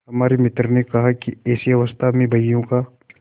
हमारे मित्र ने कहा कि ऐसी अवस्था में बहियों का